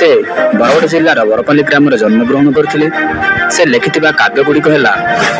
ସେ ବରଗଡ଼ ଜିଲ୍ଲାର ବରପାଲି ଗ୍ରାମରେ ଜନ୍ମଗ୍ରହଣ କରିଥିଲେ ସେ ଲେଖିଥିବା କାବ୍ୟ ଗୁଡ଼ିକ ହେଲା